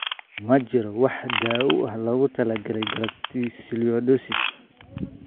Ma jirto wax daawo ah oo loogu talagalay galactosialidosis.